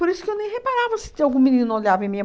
Por isso que eu nem reparava se tinha algum menino olhava em mim.